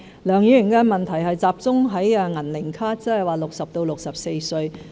梁議員的問題集中在"銀齡卡"，即是60歲至64歲人士的福利。